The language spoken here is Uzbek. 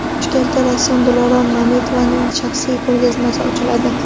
Toshkentda rassom Dilorom Mamedovaning shaxsiy ko‘rgazmasi ochiladi.